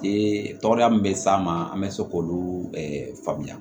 Ee tɔgɔya min bɛ s'a ma an bɛ se k'olu faamuya